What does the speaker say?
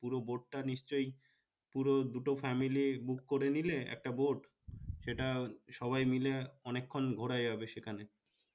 পুরো boat টা নিশ্চই পুরো দুটা family book করে নিলে একটা boat সেটা সবাই মিলে অনেক্ষন ঘুরা যাবে সেখানে